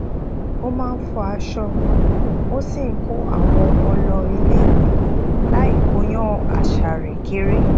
ó máa ń fọ aṣọ ó sì n ko àwọn ọmọ lọ ile iwe lai kóyan asa re kere